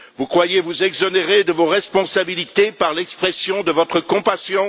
Croyez vous vous exonérer de vos responsabilités par l'expression de votre compassion?